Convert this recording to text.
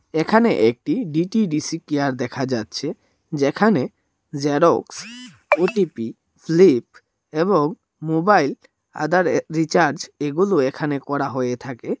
এখানে একটি D T D C care দেখা যাচ্ছে যেখানে জ্যারক্স ও_টি_পি স্লিপ এবং মোবাইল আধারে রিচার্জ এগুলো এখানে করা হয়ে থাকে।